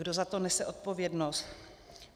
Kdo za to nese odpovědnost?